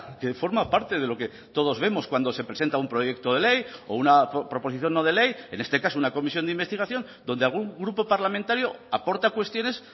que forma parte de lo que todos vemos cuando se presenta un proyecto de ley o una proposición no de ley en este caso una comisión de investigación donde algún grupo parlamentario aporta cuestiones